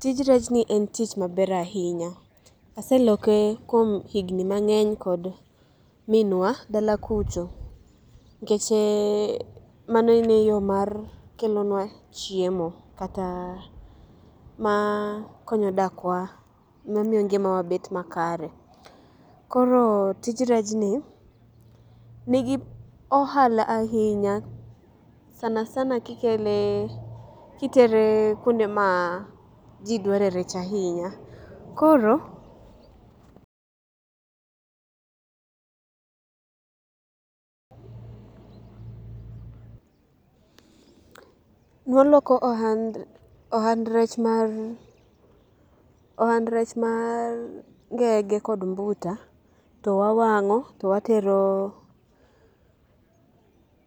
Tij rechni en tich maber ahinya aseloke kuom higni mang'eny kod minwa dala kucho. Nikech ee mano ne en yoo mar kelonwa chiemo. Kataa maa konyo dakwa ne miyo ngimawa bet makare. Koro tij rechni, nigi ohala ahinya sana sana kikelee kiteree kuonde maa ji dware rech ahinya. Koro... Nwaloko ohand rech mar ohand rech maar ngenge kod mbuta towawang'o to waterooo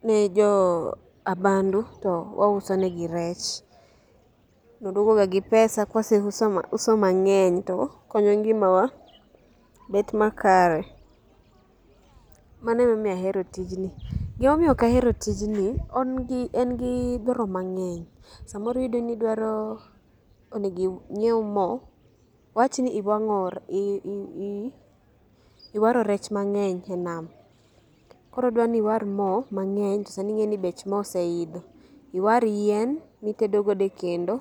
ne joo abandu to wausonegi rech. Nwaduogoga gi pesa kawaseuso uso mang'eny tokonyo ngimawa bet makare. Mano ema omiyo ahero tijni. Gima omiyo ok ahero tijni engi engi dwaro mang'eny samoro iyudoni idwaroo onego inyiew moo wawachni iwang'o re ii iwaro rech mang; eny enam koro dwani iwar moo mang'eny tosani ing'eni bech moo oseidho. Iwar yien mitedo godo ekendo.